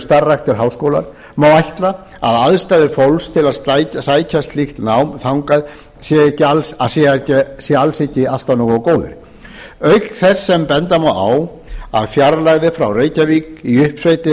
starfræktir háskólar má ætla að aðstæður fólks til að sækja slíkt nám þangað séu alls ekki alltaf nógu góðar auk þess sem benda má á að fjarlægðir frá reykjavík í uppsveitir